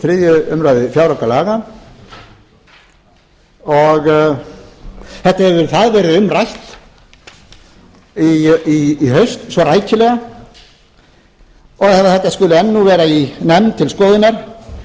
þriðju umræðu fjáraukalaga og hefur það verið um rætt í haust svo rækilega og að þetta skuli enn vera í nefnd til skoðunar